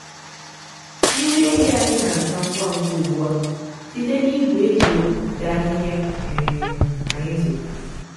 nri ehi anyị na-aga ngwa ngwa ugbu a site na igwe e ji egbutu ahịhịa um anyị zụtara.